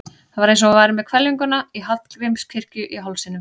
Það var eins og hún væri með hvelfinguna í Hallgrímskirkju í hálsinum.